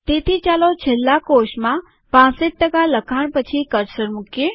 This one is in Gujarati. તેથી ચાલો છેલ્લા કોષમાં ૬૫ લખાણ પછી કર્સર મુકીએ